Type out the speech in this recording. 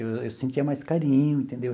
Eu sentia mais carinho, entendeu?